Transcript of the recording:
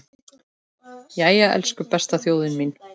Jæja, elsku besta þjóðin mín!